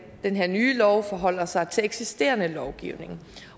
den her nye lov forholder sig til eksisterende lovgivning